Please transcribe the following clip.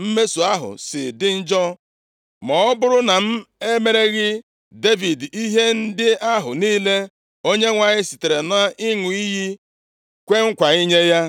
mmeso ahụ si dị njọ, ma ọ bụrụ na m emereghị Devid ihe ndị ahụ niile Onyenwe anyị sitere nʼịṅụ iyi kwee nkwa inye ya.